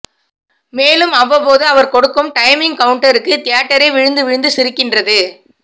மேலும் அவ்வப்போது அவர் கொடுக்கும் டைமிங் கவுண்ட்டருக்கு தியேட்டரே விழுந்து விழுந்து சிரிக்கின்றது